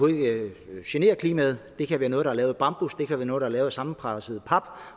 ikke generer klimaet det kan være noget der er lavet af bambus det kan være noget der er lavet af sammenpresset pap og